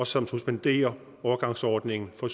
som suspenderer overgangsordningen for